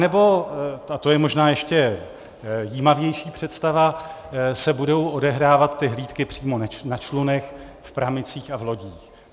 Anebo, a to je možná ještě jímavější představa, se budou odehrávat ty hlídky přímo na člunech, v pramicích a v lodích.